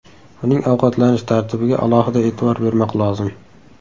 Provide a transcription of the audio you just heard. Uning ovqatlanish tartibiga alohida e’tibor bermoq lozim.